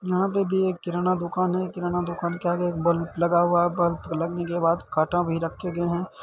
यहाँ पे भी एक किराना की दुकान है किराना दुकान के आगे एक बल्ब लगा हुआ है बल्ब लगने के बाद कांटा भी रखे गए है।